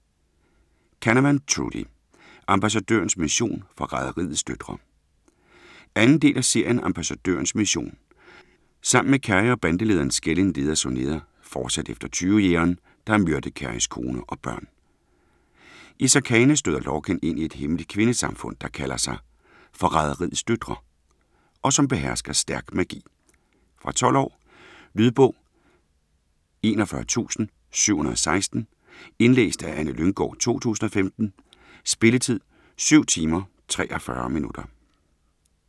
Canavan, Trudi: Ambassadørens mission - forræderiets døtre 2. del af serien Ambassadørens mission. Sammen med Cery og bandelederen Skellin leder Sonea fortsat efter Tyvejægeren, der har myrdet Cerys kone og børn. I Sarkana støder Lorkin ind i et hemmeligt kvindesamfund, der kalder sig "Forræderiets døtre" og som behersker stærk magi. Fra 12 år. Lydbog 41716 Indlæst af Anne Lynggård, 2015. Spilletid: 7 timer, 43 minutter.